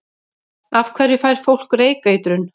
Af hverju fær fólk reykeitrun?